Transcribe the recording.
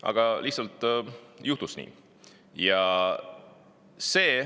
Aga lihtsalt juhtus nii.